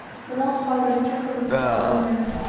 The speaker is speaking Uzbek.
Biroq hozircha hibsga olinmagan.